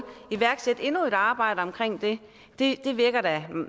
iværksætte endnu et arbejde omkring det det virker da